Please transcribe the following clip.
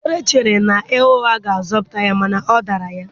Dera chere ịgha ụgha ga-azọpụta ya mana ọ dara ya.